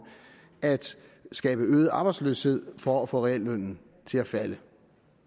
at skabe øget arbejdsløshed for at få reallønnen til at falde